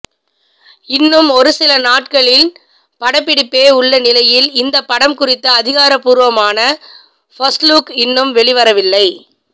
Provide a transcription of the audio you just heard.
இன்னும் ஒருசில நாட்களின் படப்பிடிப்பே உள்ள நிலையில் இந்த படம் குறித்த அதிகாரபூர்வமான ஃபர்ஸ்ட்லுக் இன்னும் வெளிவரவில்லை